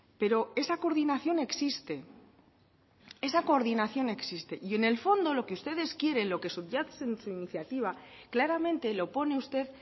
pero esa coordinación existe esa coordinación existe y en el fondo lo que ustedes quieren lo que subyace en su iniciativa claramente lo pone usted